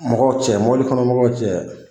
Mɔgɔw cɛ kɔnɔ mɔgɔw cɛ